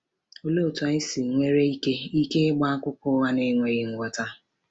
Òlee otú anyị nwere ike ike ịgba akụkọ ụgha na-enweghị nghọta?